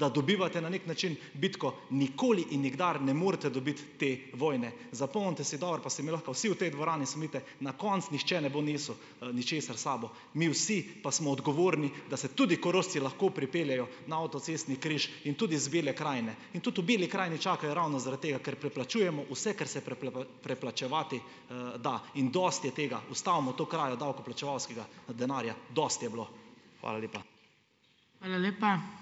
da dobivate na neki način bitko. Nikoli in nikdar ne morete dobiti te vojne. Zapomnite si dobro, pa se mi lahko vsi v tej dvorani smejite. Na koncu nihče ne bo nesel, ničesar sabo. Mi vsi pa smo odgovorni, da se tudi Korošci lahko pripeljejo na avtocestni križ in tudi iz Bele krajne. In tudi v Beli krajini čakajo ravno zaradi tega, ker preplačujemo vse, kar se preplačevati, da. In dosti je tega. Ustavimo to krajo davkoplačevalskega denarja. Dosti je bilo. Hvala lepa.